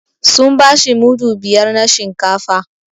Sun bashi mudu biyar na shinkafa